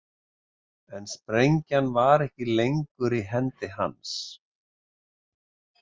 En sprengjan var ekki lengur í hendi hans.